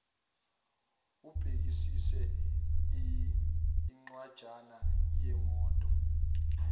ubhekisise incwanjana yemoto